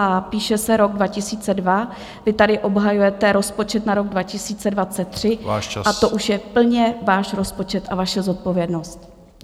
A píše se rok 2022, vy tady obhajujete rozpočet na rok 2023 a to už je plně váš rozpočet a vaše zodpovědnost!